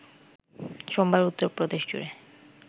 সোমবার উত্তর প্রদেশজুড়ে